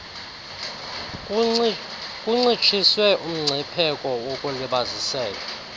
kuncitshiswe umgcipheko wokulibaziseka